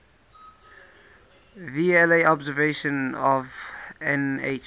vla observations of nh